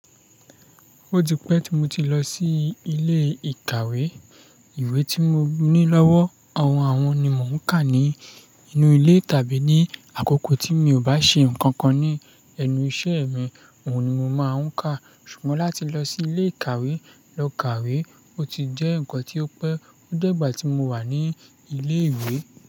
Ó ti pẹ́ tí mo ti lọ sí ilé ìkàwé. Ìwé tí mo ní lọ́wọ́, àwọn àwọn ni mò ń ka ní inú ilé tàbí ní àkókò tí mi ò bá ṣe nǹkan kan ní ẹnu iṣẹ́ mi, òun ni mo máa ń ka. Ṣùgbọ́n láti lọ sí ilé ìkàwé lọ kàwé, ó ti jẹ́ nǹkan tí ó pẹ́. Ó dẹ́gbà tí mo wà ní ilé ìwé.